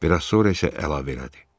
Bir az sonra isə əlavə elədi.